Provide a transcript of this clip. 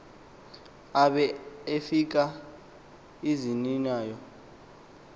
abe efaka iziniya